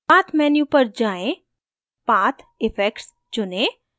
path menu पर जाएँ path effects चुनें